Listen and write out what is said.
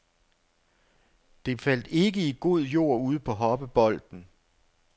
Det faldt ikke i god jord ude på hoppebolden.